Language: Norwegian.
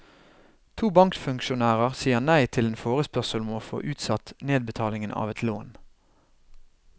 To bankfunksjonærer sier nei til en forspørsel om å få utsatt nedbetalingen av et lån.